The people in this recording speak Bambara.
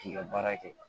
K'i ka baara kɛ